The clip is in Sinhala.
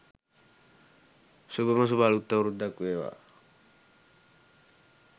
සුභම සුභ අළුත් අවුරුද්දක් වේවා.